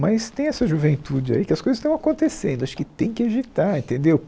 Mas tem essa juventude aí que as coisas estão acontecendo, acho que tem que agitar, entendeu?